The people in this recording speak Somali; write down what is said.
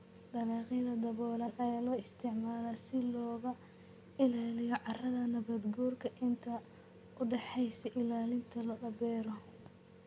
Dalagyada daboolan ayaa loo isticmaalaa si looga ilaaliyo carrada nabaadguurka inta u dhaxaysa xilliyada la beero.